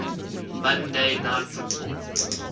monday night football